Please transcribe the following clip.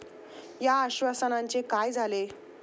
या आश्वासनांचे काय झाले?